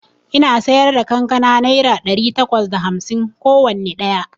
Ina siyarda kankana naira ɗari takwas da hamsin kowanne ɗaya